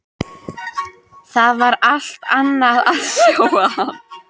Það var allt annað að sjá hann.